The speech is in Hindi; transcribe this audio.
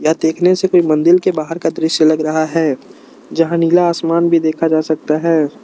यह देखने से कोई मंदिल के बाहर का दृश्य लग रहा है जहां नीला आसमान भी देखा जा सकता है।